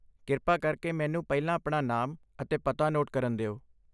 ਕਿਰਪਾ ਕਰਕੇ ਮੈਨੂੰ ਪਹਿਲਾਂ ਆਪਣਾ ਨਾਮ ਅਤੇ ਪਤਾ ਨੋਟ ਕਰਨ ਦਿਓ।